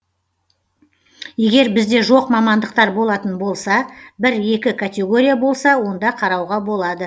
егер бізде жоқ мамандықтар болатын болса бір екі категория болса онда қарауға болады